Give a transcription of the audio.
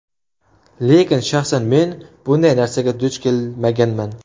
Lekin shaxsan men bunday narsaga duch kelmaganman.